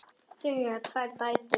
Þau eiga tvær dætur.